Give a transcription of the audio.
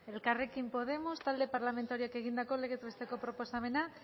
elkarrekin podemos talde parlamentarioak egindako legez besteko proposamena